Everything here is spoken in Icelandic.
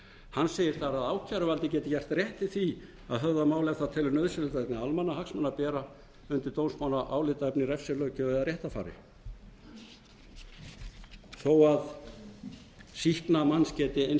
hann segir að ákæruvaldið geti gert rétt í því að höfða mál ef það telur nauðsynlegt vegna almannahagsmuna að bera undir dómsmál álitaefni refsilöggjöf eða réttarfari þó að sýkna manns geti eins